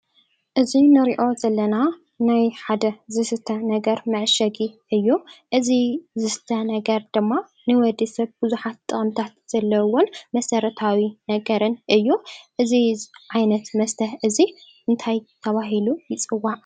እዚ ንሪኦ ዘለና ናይ ሓደ ዝስተ ነገር መዓሸጊ እዩ፡፡ እዚ ዝስተ ነገር ድማ ንወዲ ሰብ ብዙሓት ጥቕምታት ዘለዉዎን መሰረታዊ ነገርን እዩ፡፡ እዚ ዓይነት እዚ ታይ ተባሂሉ ይፅዋዕ?